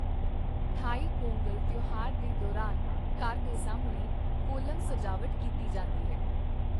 ਥਾਈ ਪੋਂਗਲ ਤਿਉਹਾਰ ਦੇ ਦੌਰਾਨ ਘਰ ਦੇ ਸਾਹਮਣੇ ਕੋਲਮ ਸਜਾਵਟ ਕੀਤੀ ਜਾਂਦੀ ਹੈ।